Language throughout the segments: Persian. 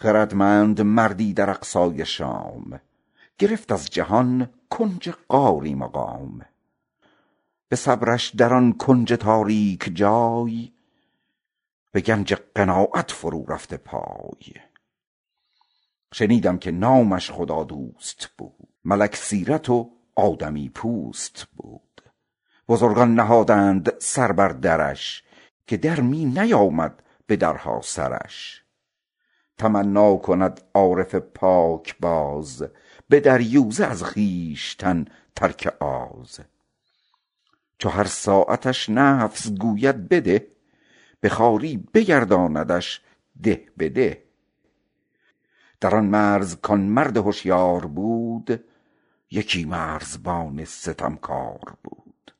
خردمند مردی در اقصای شام گرفت از جهان کنج غاری مقام به صبرش در آن کنج تاریک جای به گنج قناعت فرو رفته پای شنیدم که نامش خدادوست بود ملک سیرتی آدمی پوست بود بزرگان نهادند سر بر درش که در می نیامد به درها سرش تمنا کند عارف پاکباز به دریوزه از خویشتن ترک آز چو هر ساعتش نفس گوید بده به خواری بگرداندش ده به ده در آن مرز کاین پیر هشیار بود یکی مرزبان ستمکار بود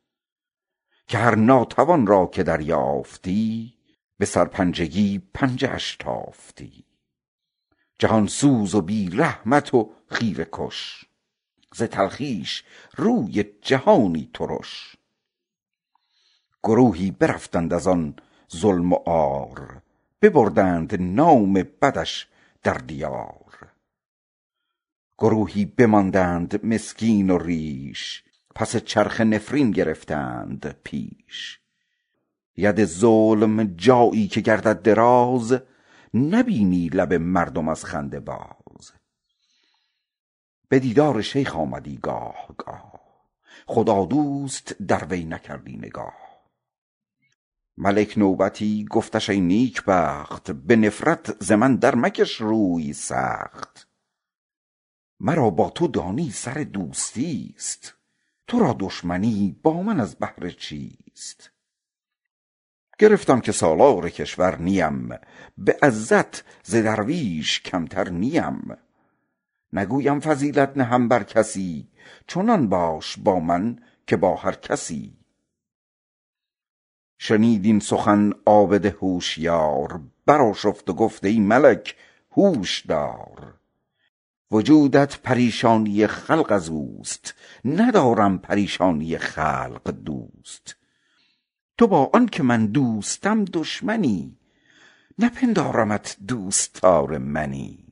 که هر ناتوان را که دریافتی به سرپنجگی پنجه برتافتی جهان سوز و بی رحمت و خیره کش ز تلخیش روی جهانی ترش گروهی برفتند از آن ظلم و عار ببردند نام بدش در دیار گروهی بماندند مسکین و ریش پس چرخه نفرین گرفتند پیش ید ظلم جایی که گردد دراز نبینی لب مردم از خنده باز به دیدار شیخ آمدی گاه گاه خدادوست در وی نکردی نگاه ملک نوبتی گفتش ای نیکبخت به نفرت ز من در مکش روی سخت مرا با تو دانی سر دوستی است تو را دشمنی با من از بهر چیست گرفتم که سالار کشور نیم به عزت ز درویش کمتر نیم نگویم فضیلت نهم بر کسی چنان باش با من که با هر کسی شنید این سخن عابد هوشیار بر آشفت و گفت ای ملک هوش دار وجودت پریشانی خلق از اوست ندارم پریشانی خلق دوست تو با آن که من دوستم دشمنی نپندارمت دوستدار منی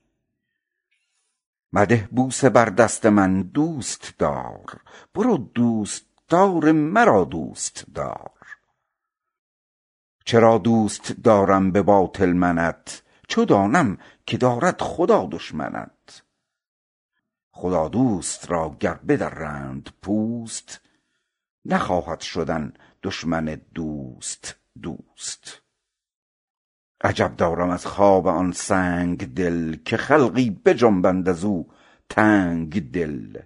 چرا دوست دارم به باطل منت چو دانم که دارد خدا دشمنت مده بوسه بر دست من دوستوار برو دوستداران من دوست دار خدادوست را گر بدرند پوست نخواهد شدن دشمن دوست دوست عجب دارم از خواب آن سنگدل که خلقی بخسبند از او تنگدل